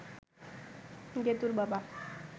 গেতুঁর বাবা